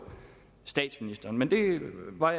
statsministeren men der var